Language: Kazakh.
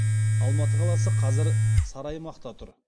алматы қаласы қазір сары аймақта тұр